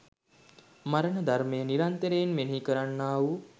මරණ ධර්මය නිරන්තරයෙන් මෙනෙහි කරන්නාවූ